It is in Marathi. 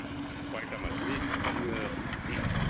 कोल्टा माती म्हणजे